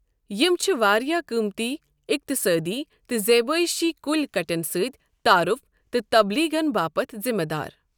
یِم چھِ واریٛاہ قۭمتی اقتصٲدی تہٕ زیبٲیشی کُلۍ کٹٮ۪ن سۭتۍ تعارُف تہٕ تبلیغَن باپتھ ذِمہٕ دار۔